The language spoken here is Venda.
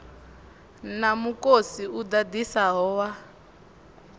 na mukosi u ḓaḓisaho wa